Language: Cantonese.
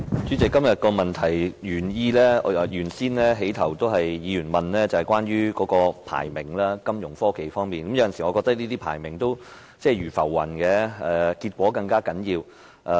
主席，今天這項主體質詢在開始時問及有關金融科技的排名，我認為這些排名如浮雲，結果才更為重要。